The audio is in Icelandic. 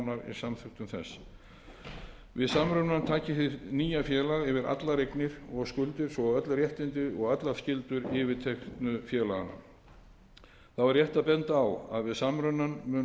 samþykktum þess við samrunann taki hið nýja félag yfir allar eignir og skuldir svo og öll réttindi og allar skyldur yfirteknu félaganna þá er rétt að benda á að við samrunann munu ákvæði laga um